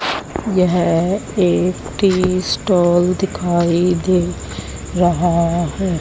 यह एक tea stall दिखाई दे रहा है।